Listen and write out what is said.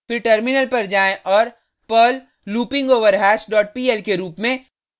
फिर टर्मिलन पर जाएँ और perl loopingoverhash dot pl के रुप में